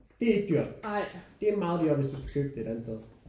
Det er ikke dyrt. Det er meget dyrere hvis du skal købe det et andet sted